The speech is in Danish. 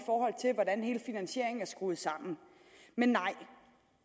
af skrues sammen men nej